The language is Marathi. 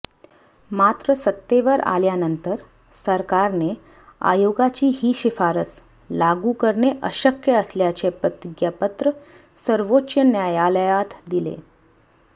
मात्र सत्तेवर आल्यानंतर सरकारने आयोगाची ही शिफारस लागू करणे अशक्य असल्याचे प्रतिज्ञापत्र सर्वोच्च न्यायालयात दिले